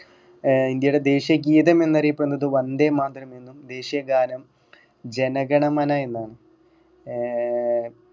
ഏർ ഇന്ത്യയുടെ ദേശീയ ഗീതം എന്നറിയപ്പെടുന്നത് വന്ദേ മാതരം എന്നും ദേശീയ ഗാനം ജനഗണമന എന്നാണ് ഏർ